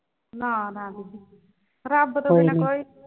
ਨਾ ਨਾ ਨਾ ਬੀਬੀ ਰੱਬ ਤੋਂ ਈ ਨਾ ਕੋਈ।